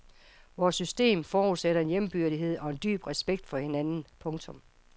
Vores system forudsætter en jævnbyrdighed og en dyb respekt for hinanden. punktum